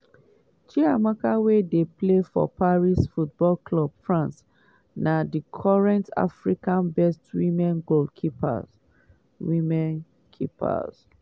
chiamaka wey dey play for paris football club france na di current africa best women's goalkeeper. women's goalkeeper.